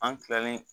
An kilalen